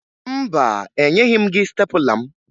Mba, enyeghi m gị stepụla m